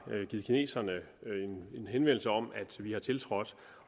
givet kineserne en henvendelse om at vi har tiltrådt